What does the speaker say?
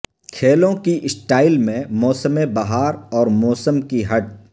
کھیلوں کی سٹائل میں موسم بہار اور موسم کی ہٹ